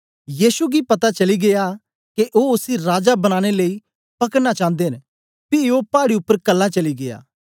यीशु गी पता चली गीया के ओ उसी राजा बनाने लेई पकड़ना चांदे न पी ओ पाड़ी उपर कल्ला चली गीया